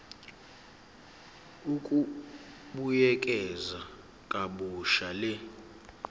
ukubuyekeza kabusha le